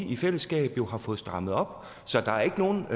i fællesskab jo har fået strammet op så der er ikke nogen